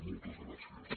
moltes gràcies